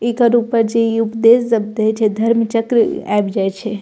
एकर ऊपर जे इ उपदेश जब दे छै धर्म चक्र आएब जाए छै।